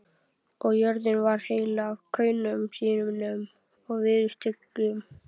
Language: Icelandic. Og jörðin varð heil af kaunum sínum og viðurstyggð.